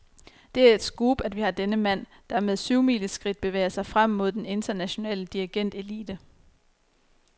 Det er et scoop, at vi har denne mand, der med syvmileskridt bevæger sig frem mod den internationale dirigentelite.